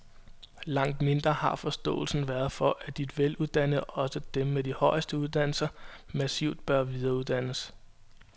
Langt mindre har forståelsen været for, at de veluddannede, også dem med de højeste uddannelser, massivt bør videreuddannes.